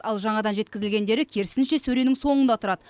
ал жаңадан жеткізілгендері керісінше сөренің соңында тұрады